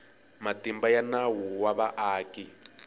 matimba ya nawu wa vaaki